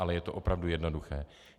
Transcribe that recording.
Ale je to opravdu jednoduché.